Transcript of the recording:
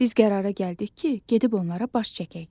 Biz qərara gəldik ki, gedib onlara baş çəkək.